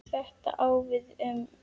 Þetta á við um